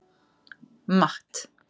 Matt